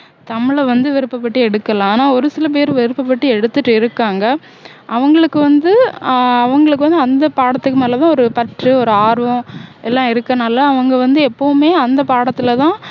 தமிழ வந்து விருப்பப்பட்டு எடுக்கலாம் ஆனா ஒரு சில பேர் விருப்பப்பட்டு எடுத்துட்டு இருக்காங்க அவங்களுக்கு வந்து ஆஹ் அவங்களுக்கு வந்து அந்த பாடத்துக்கு மேல தான் ஒரு பற்று ஒரு ஆர்வம் எல்லாம் இருக்கனால அவங்க வந்து எப்போவுமே அந்த பாடத்துலதான்